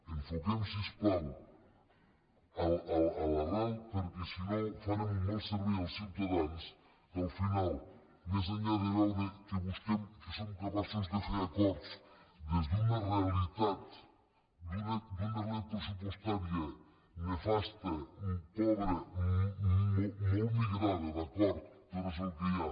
enfoquem si us plau l’arrel perquè si no farem un mal servei als ciutadans que al final més enllà de veure que som capaços de fer acords des d’una realitat pressupostària nefasta pobra molt migrada d’acord però és el que hi ha